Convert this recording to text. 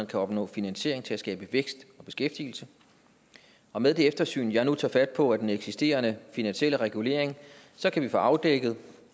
kan opnå finansiering til at skabe vækst og beskæftigelse og med det eftersyn jeg nu tager fat på af den eksisterende finansielle regulering kan vi få afdækket